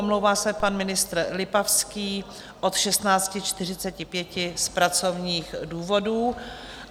Omlouvá se pan ministr Lipavský od 16.45 z pracovních důvodů.